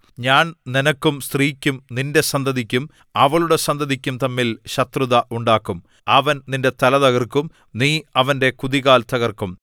ഞാൻ നിനക്കും സ്ത്രീക്കും നിന്റെ സന്തതിക്കും അവളുടെ സന്തതിക്കും തമ്മിൽ ശത്രുത ഉണ്ടാക്കും അവൻ നിന്റെ തല തകർക്കും നീ അവന്റെ കുതികാൽ തകർക്കും